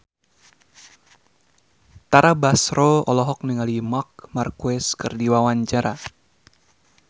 Tara Basro olohok ningali Marc Marquez keur diwawancara